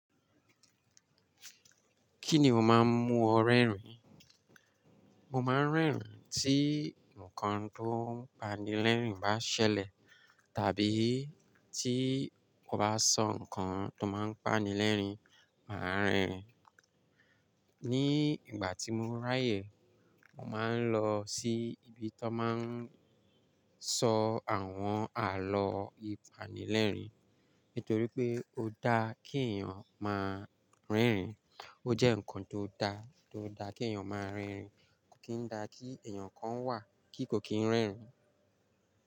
Kí ni o máa ń mu ọ rẹ́rìn? Mo máa ń rẹ́rìn tí nǹkan tó ń panilẹ́rìn bá ṣẹlẹ̀, tàbí tí mo bá sọ nǹkan tó máa ń panilẹ́rìn, mà á rìn. Ní ìgbà tí mo ráyè, mo máa ń lọ sí ibi tó máa ń sọ àwọn àlọ́ ìpanilẹ́rìn. Nítorí pé ó dá kí èèyàn máa rerín. Ó jẹ́ nǹkan tó dá, tó dá kí èèyàn máa rerín. Kò kín dá kí èèyàn kan wà kí kò kín rẹ́rìn.